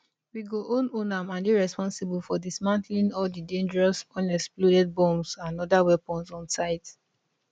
we go own own am and dey responsible for dismantling all di dangerous unexploded bombs and oda weapons on site